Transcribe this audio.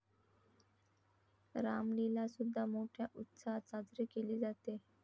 रामलीला सुद्धा मोठ्या उत्साहात साजरी केली जाते.